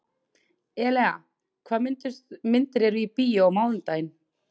Elea, hvaða myndir eru í bíó á mánudaginn?